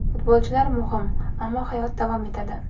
Futbolchilar muhim, ammo hayot davom etadi.